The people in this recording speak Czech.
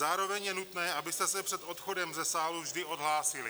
Zároveň je nutné, abyste se před odchodem ze sálu vždy odhlásili.